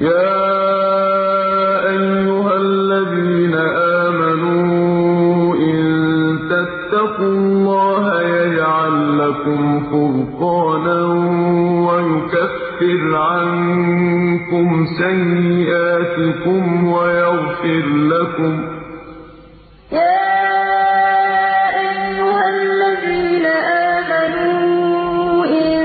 يَا أَيُّهَا الَّذِينَ آمَنُوا إِن تَتَّقُوا اللَّهَ يَجْعَل لَّكُمْ فُرْقَانًا وَيُكَفِّرْ عَنكُمْ سَيِّئَاتِكُمْ وَيَغْفِرْ لَكُمْ ۗ وَاللَّهُ ذُو الْفَضْلِ الْعَظِيمِ يَا أَيُّهَا الَّذِينَ آمَنُوا إِن